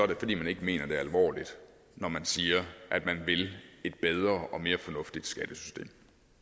det fordi man ikke mener det alvorligt når man siger at man vil et bedre og mere fornuftigt skattesystem